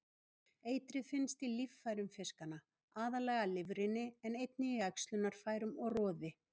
Eitrið finnst í líffærum fiskanna, aðallega lifrinni en einnig í æxlunarfærum og roði.